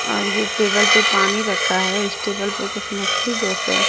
और ये टेबल पे पानी रखा है इस टेबल पे कुछ मछली जैसे--